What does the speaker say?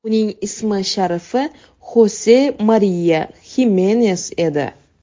Uning ism-sharifi Xose Mariya Himenes edi.